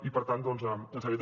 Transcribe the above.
i per tant doncs ens sap greu